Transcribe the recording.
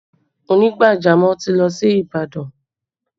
Onígbàjamọ̀ ti lọ sí Ìbàdàn